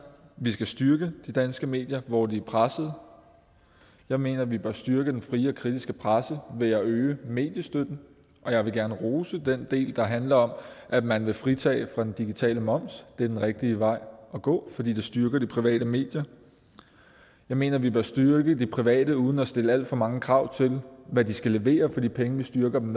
vi skal styrke de danske medier hvor de er pressede jeg mener vi bør styrke den frie og kritiske presse ved at øge mediestøtten og jeg vil gerne rose den del der handler om at man vil fritage digitale moms det er den rigtige vej at gå fordi det styrker de private medier jeg mener vi bør styrke de private uden at stille alt for mange krav til hvad de skal levere fordi pengene styrker dem